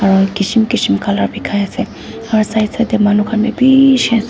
aru kism kism colour bikai ase aru side side teh manu khan bhi bishi ase.